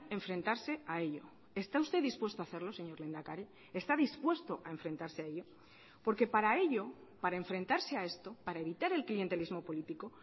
enfrentarse a ello está usted dispuesto a hacerlo señor lehendakari está dispuesto a enfrentarse a ello porque para ello para enfrentarse a esto para evitar el clientelismo político